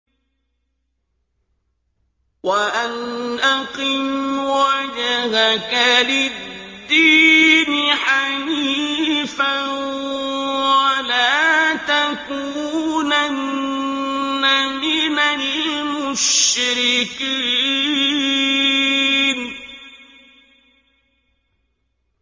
وَأَنْ أَقِمْ وَجْهَكَ لِلدِّينِ حَنِيفًا وَلَا تَكُونَنَّ مِنَ الْمُشْرِكِينَ